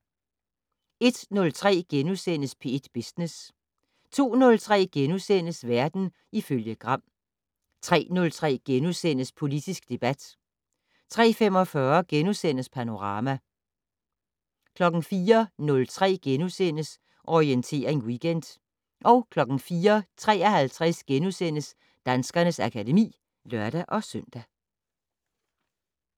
01:03: P1 Business * 02:03: Verden ifølge Gram * 03:03: Politisk debat * 03:45: Panorama * 04:03: Orientering Weekend * 04:53: Danskernes akademi *(lør-søn)